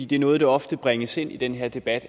det er noget der oftest bringes ind i den her debat